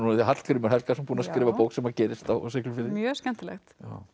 Hallgrímur Helgason búinn að skrifa bók sem gerist á Siglufirði mjög skemmtilegt